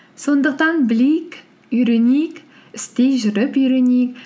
сондықтан білейік үйренейік істей жүріп үйренейік